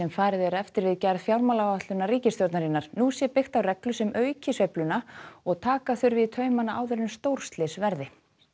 farið er eftir við gerð fjármálaáætlunar ríkisstjórnarinnar nú sé byggt á reglu sem auki sveifluna og taka þurfi í taumana áður en stórslys verði